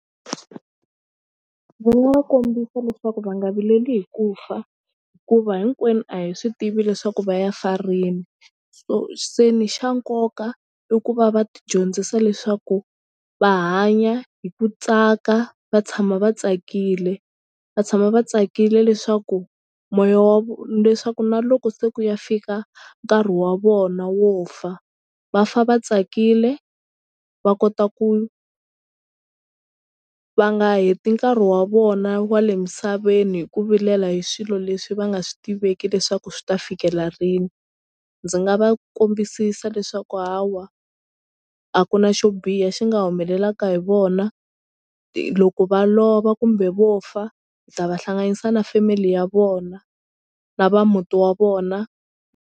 Ndzi nga va kombisa leswaku va nga vileli hi ku fa hikuva hinkwenu a hi swi tivi leswaku va ya fa rini so se ni xa nkoka i ku va va tidyondzisa leswaku va hanya hi ku tsaka va tshama va tsakile va tshama va tsakile leswaku moya wa vo leswaku na loko se ku ya fika nkarhi wa vona wo fa va fa va tsakile va kota ku va nga heti nkarhi wa vona wa le misaveni hi ku vilela hi swilo leswi va nga swi tiveki leswaku swi ta fikela rini. Ndzi nga va kombisisa leswaku ha wa a ku na xo biha xi nga humelelaka hi vona loko va lova kumbe vo fa ni ta va hlanganisa na family ya vona na va muti wa vona.